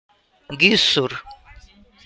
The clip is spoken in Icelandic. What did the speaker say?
Gissur